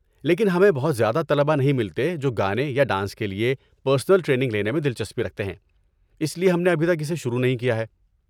لیکن ہمیں بہت زیادہ طلبہ نہیں ملتے جو گانے یا ڈانس کے لیے پرنسل ٹریننگ لینے میں دلچسپی رکھتے ہیں، اس لیے ہم نے ابھی تک اسے شروع نہیں کیا ہے۔